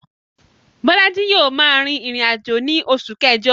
Bólájí yio ma rìn ìrìnàjò ni osù kẹ́jo